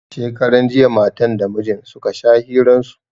Shekaran jiya matan da mijin suka sha hiran su